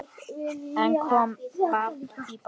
En kom babb í bátinn.